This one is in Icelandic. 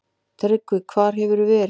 TRYGGVI: Hvar hefurðu verið?